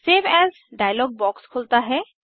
save as dialog box खुलता है